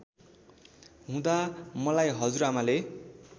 हुँदा मलाई हजुरआमाले